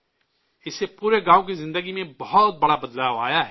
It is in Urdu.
اس سے پورے گاؤں کی زندگی میں بہت بڑی تبدیلی آئی ہے